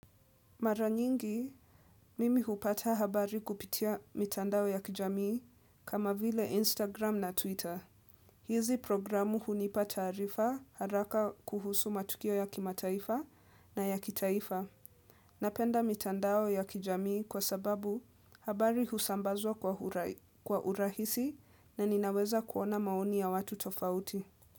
Mara nyingi, mimi hupata habari kupitia mitandao ya kijamii kama vile Instagram na Twitter. Hizi programu hunipa taarifa haraka kuhusu matukio ya kimataifa na ya kitaifa. Napenda mitandao ya kijamii kwa sababu habari husambazwa kwa urahisi na ninaweza kuona maoni ya watu tofauti.